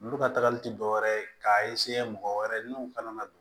Olu ka tagali ti dɔwɛrɛ ye k'a mɔgɔ wɛrɛ n'u kana don